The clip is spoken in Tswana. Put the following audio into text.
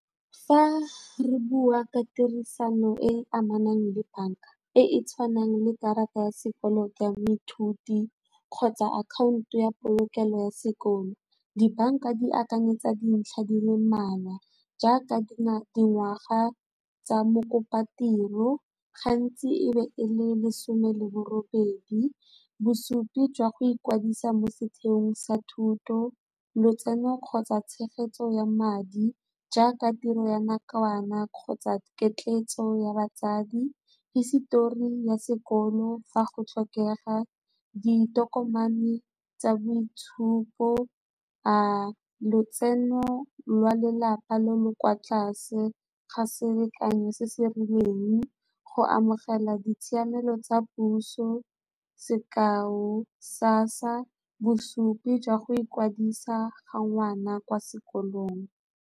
Fa re bua ka tirisano e e amanang le banka e e tshwanang le karata ya sekoloto ya moithuti kgotsa akhaonto ya polokelo ya sekolo dibanka di akanyetsa dintlha di le mmalwa jaaka dingwaga tsa mokopa-tiro gantsi, e be e le lesome le bo robedi. Bosupi jwa go ikwadisa mo setheong sa thuto, lotseno kgotsa tshegetso ya madi jaaka tiro ya nakwana kgotsa ketleetso ya batsadi, hisitori ya sekolo fa go tlhokega ditokomane tsa boitshupo, lotseno lwa lelapa leo le kwa tlase ga selekanyo se se rileng go amogela ditshiamelo tsa puso, sekao sa bosupi jwa go ikwadisa ga ngwana kwa sekolong.